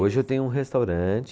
Hoje eu tenho um restaurante.